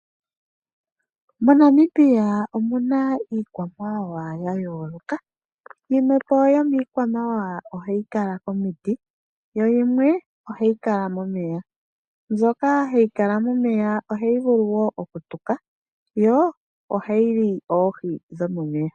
MoNamibia omuna iikwamawawa ya yooloka yimwe yomiikwa mawawa ohayi kala komiti yo yimwe ohayi kala momeya mbyoka hayi kala momeya ohayi vulu okutuka yo ohayi li oohi dhomo meya.